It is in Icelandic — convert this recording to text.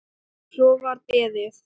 Svo var beðið.